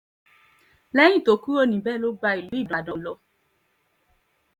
lẹ́yìn tó kúrò níbẹ̀ ló gba ìlú ibodàn lọ